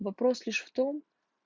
вопрос лишь в том